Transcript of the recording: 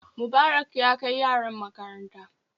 Mubarak ya kai yaran makaranta